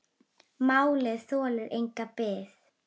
Málið þolir enga bið.